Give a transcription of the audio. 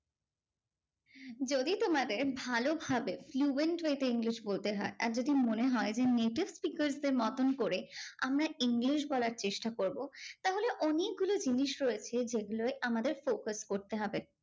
যদি তোমাদের ভালোভাবে fluent way তে English বলতে হয় আর যদি মনে হয় যে native speakers দের মতন করে আমরা English বলার চেষ্টা করবো তাহলে অনেকগুলো জিনিস রয়েছে যেগুলোয় আমাদের focus করতে হবে